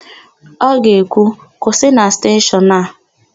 Ọ ga-ekwu, "kwụsị na steshọnụ a"!